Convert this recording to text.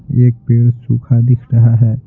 एक पेड़ सूखा दिख रहा है।